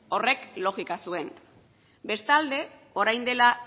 horrek logika zuen bestalde orain dela